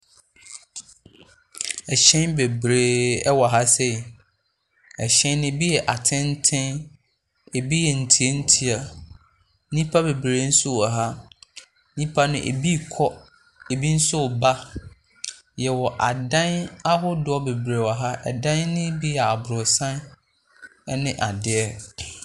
Hyɛn bebree wɔ ha sei. Hyɛn no bi yɛ atenten, ebi yɛ ntiantia. Nnipa bebree nso wɔ ha. Nnipa no, ebi rekɔ, ebi nso reba. Yɛwɔ adan ahodoɔ bebree wɔ ha. Dan no bi yɛ aborosan ne adeɛ.